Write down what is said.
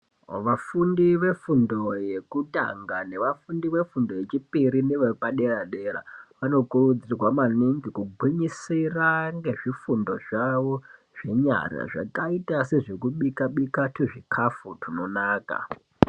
Vafundi vefundo yekutanga nevafundi vefundo yechipiri nevepadera dera vanokurudzirwa maningi kugwinyisira nezvifundo zvavo zvenyara zvakaita sezvekubika-bika tuzvikafu tunonaka.